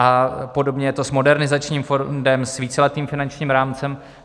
A podobně je to s modernizačním fondem, s víceletým finančním rámcem.